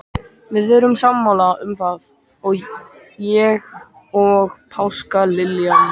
Við erum sammála um það, ég og páskaliljan.